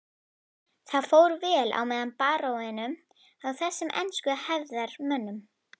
Það fór vel á með baróninum og þessum ensku hefðarmönnum.